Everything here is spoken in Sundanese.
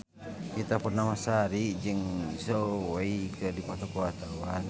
Ita Purnamasari jeung Zhao Wei keur dipoto ku wartawan